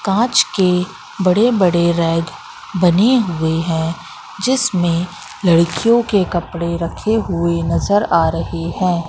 कांच के बड़े बड़े रैक बने हुए हैं जिसमें लड़कियों के कपड़े रखे हुए नजर आ रहे हैं।